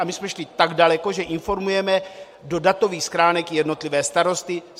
A my jsme šli tak daleko, že informujeme do datových schránek jednotlivé starosty.